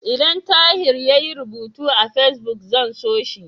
Idan Tahir yayi rubutu a Fesbuk, zan so shi.